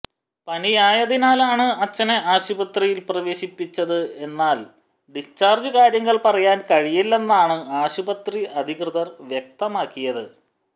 പനിയായതിനാലാണ് അച്ചനെ ആശുപത്രിയിൽ പ്രവേശിപ്പിച്ചത് എന്നാൽ ഡിസ്ചാർജ് കാര്യങ്ങൾ പറയാൻ കഴിയില്ലെന്നാണ് ആശുപത്രി അധികൃതർ വ്യക്തമാക്കിയത്